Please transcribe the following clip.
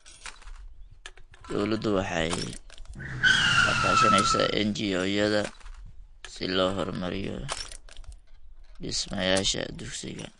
Dawladdu waxay la kaashanaysaa NGO-yada si loo horumariyo dhismayaasha dugsiga.